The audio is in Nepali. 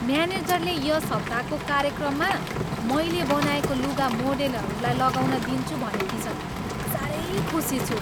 म्यानेजरले यस हप्ताको कार्यक्रममा मैले बनाएको लुगा मोडेलहरूलाई लगाउन दिन्छु भनेकी छिन्। साह्रै खुसी छु।